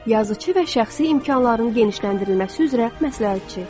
Yazıçı və şəxsi imkanların genişləndirilməsi üzrə məsləhətçi.